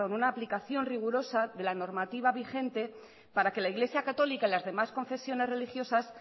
una aplicación rigurosa de la normativa vigente para que la iglesia católica y las demás confesiones religiosas